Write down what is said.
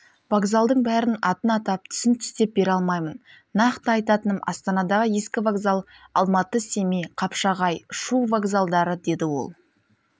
вокзалдың бәрін атын атап түсін түстеп бере алмаймын нақты айтатыным астанадағы ескі вокзал алматы семей қапшағай шу вокзалдары деді ол